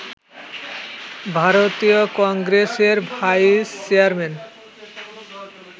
ভারতীয় কংগ্রেসের vice chairman